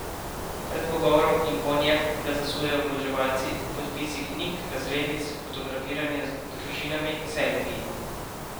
Pred pogovorom in po njem ga zasujejo oboževalci, podpisi knjig, razglednic, fotografiranje z družinami, selfiji.